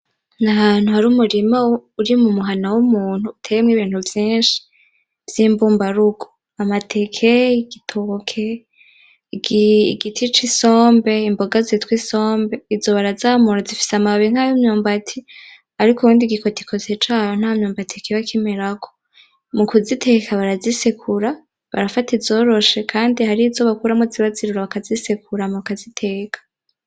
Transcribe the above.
N'ahantu har'umurima uri mu muhana w'umuntu uteyemwo ibintu vyinshi vy'imbubarugo, amateke, igitoki, igiti c'isombe, imboga zitwa isombe izo barazamura zifise amababi nkay'imyumbati ariko igi kotikoti cawo nta myumbati kiba kimerako, mu kuziteka barazisekura barafata izoroshe kandi harizo bakuramwo ziba zirura bakazisekura hama bakaziteka.